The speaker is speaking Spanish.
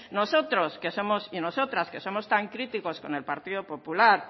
nosotros y nosotras que somos tan críticos con el partido popular